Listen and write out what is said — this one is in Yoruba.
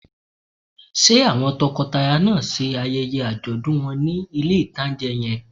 Ṣé àwọn tọkọtaya náà ṣe ayẹyẹ àjọ̀dún wọn ní ilé-ìtánjẹ yẹn?